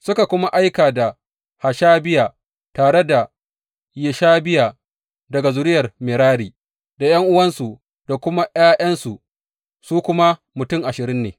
Suka kuma aika da Hashabiya tare da Yeshahiya daga zuriyar Merari, da ’yan’uwansu da kuma ’ya’yansu, su kuma mutum ashirin ne.